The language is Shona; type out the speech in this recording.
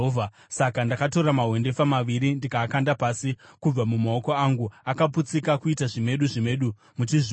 Saka ndakatora mahwendefa maviri ndikaakanda pasi kubva mumaoko angu, akaputsika kuita zvimedu zvimedu muchizviona.